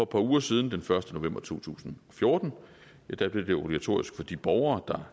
par uger siden den første november to tusind og fjorten blev det obligatorisk for de borgere